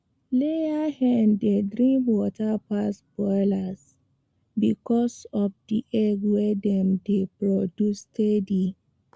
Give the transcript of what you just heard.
layer hen dey drink water pass broiler because of the egg wey dem dey produce steady